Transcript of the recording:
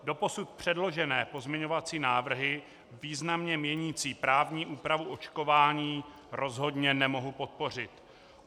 Doposud předložené pozměňovací návrhy významně měnící právní úpravu očkování rozhodně nemohu podpořit.